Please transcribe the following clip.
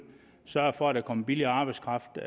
sørge for at der kommer billig arbejdskraft